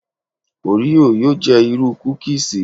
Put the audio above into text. Òríò yóò jẹ́ irú kúkíísì.